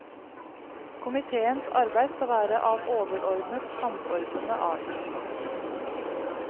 Komitéens arbeid skal være av overordnet, samordnende art.